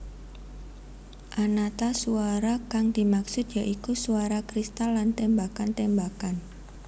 Anata suwara kang dimaksud ya iku suwara kristal lan tembakan tembakan